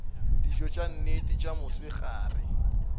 dijo tša nnete tša mosegare